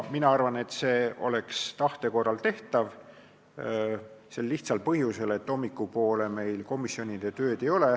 Mina arvan, et see oleks hea tahte korral tehtav, sel lihtsal põhjusel, et hommikupoole meil kolmapäeval komisjonide tööd ei ole.